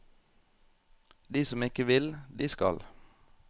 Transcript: De som ikke vil, de skal.